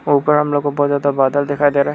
ऊपर हम लोगों को बहुत ज्यादा बादल दिखाई दे रहा है।